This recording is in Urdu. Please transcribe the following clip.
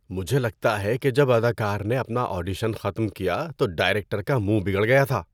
مجھے لگتا ہے کہ جب اداکار نے اپنا آڈیشن ختم کیا تو ڈائریکٹر کا منہ بگڑ گیا تھا۔